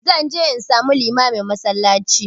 Zan je in samu limamin a masallaci